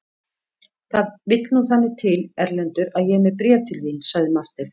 Það vill nú þannig til Erlendur að ég er með bréf til þín, sagði Marteinn.